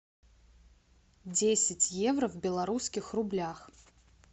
десять евро в белорусских рублях